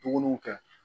Dumuni kɛ